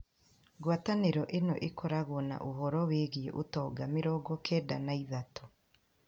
Ngwatanĩro ĩno ĩkoragwo na ũhoro wĩgiĩ ũtonga mĩrongo kenda na ithatũ,